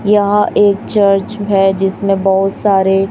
यहां एक चर्च है जिसमें बहुत सारे--